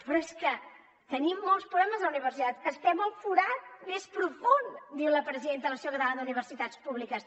però és que tenim molts problemes a la universitat estem al forat més profund diu la presidenta de l’associació catalana d’universitats públiques